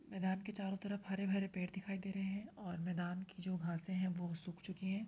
मैदान के चारों तरफ हरे भरे पेड़ दिखाई दे रहे हैं और मैदान की जो घाँसे है वो सूख चुकी हैं।